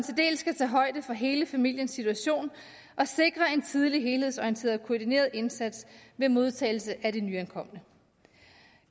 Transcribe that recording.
skal tage højde for hele familiens situation og sikre en tidlig helhedsorienteret og koordineret indsats ved modtagelsen af de nyankomne